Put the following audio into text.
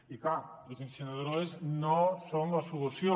i clar les incineradores no són la solució